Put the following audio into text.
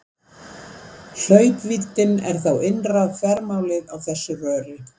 Hlaupvíddin er þá innra þvermálið á þessu röri.